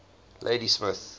ladysmith